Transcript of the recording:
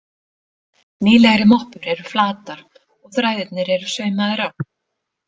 Nýlegri moppur eru flatar og þræðirnir eru saumaðir á.